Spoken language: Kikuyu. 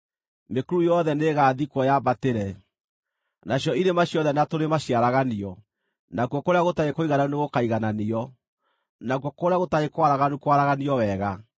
Mĩkuru yothe nĩĩgathikwo yambatĩre, nacio irĩma ciothe na tũrĩma ciaraganio; nakuo kũrĩa gũtarĩ kũigananu nĩgũkaigananio, nakuo kũrĩa gũtarĩ kwaraganu kwaraganio wega.